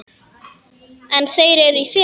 En þeir eru í felum!